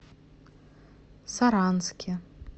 саранске